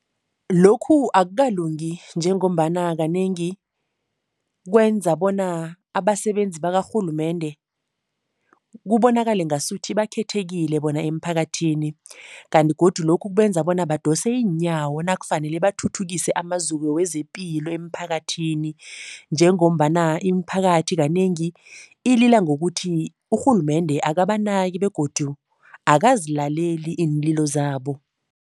Lokhu akukalungi njengombana kanengi kwenza bona abasebenzi bakarhulumende kubonakale ngasuthi bakhethekile bona emphakathini kanti godu lokhu kubenza bona badose iinyawo nakufanele bathuthukise amaziko wezepilo emphakathini njengombana imiphakathi kanengi ilila ngokuthi, urhulumende akabanaki begodu akazilaleli iinlilo zabo.